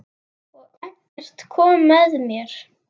Og Eggert kom með mér.